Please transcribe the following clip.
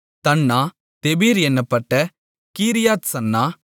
தன்னா தெபீர் என்னப்பட்ட கீரியாத்சன்னா